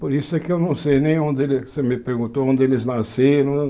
Por isso que eu não sei nem onde eles... Você me perguntou onde eles nasceram.